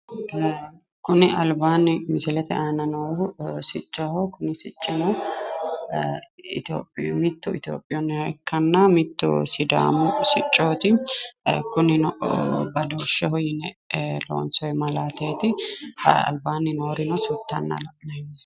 Kuni albaani misilete aana noohu siccoho, Ethiopiyuhana sidaamu sicco ikkanna